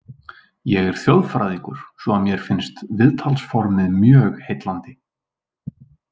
Ég er þjóðfræðingur svo að mér finnst viðtalsformið mjög heillandi.